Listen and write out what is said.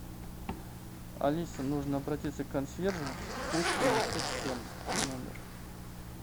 алиса нужно обратиться к консьержу пусть принесут фен в номер